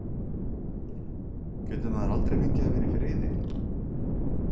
GETUR MAÐUR ALDREI FENGIÐ AÐ VERA Í FRIÐI?